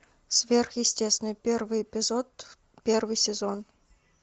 сверхъестественное первый эпизод первый сезон